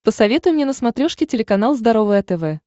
посоветуй мне на смотрешке телеканал здоровое тв